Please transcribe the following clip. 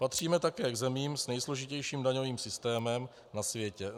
Patříme také k zemím s nejsložitějším daňovým systémem na světě.